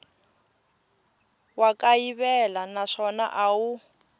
wa kayivela naswona a wu